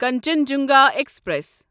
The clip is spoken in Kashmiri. کنچنجنگا ایکسپریس